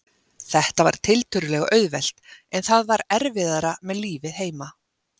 Þetta var tiltölulega auðvelt, en það var erfiðara með lífið heima.